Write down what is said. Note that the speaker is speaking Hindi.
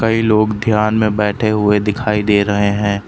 कई लोग ध्यान में बैठे हुए दिखाई दे रहे हैं।